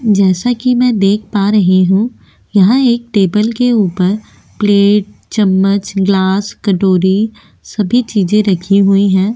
जैसा कि मैं देख पा रही हूं यहां एक टेबल के ऊपर प्लेट चम्मच ग्लास कटोरी सभी चीजे रखी हुई है।